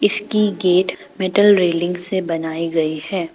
इसकी gate metal railing से बनाई गई है।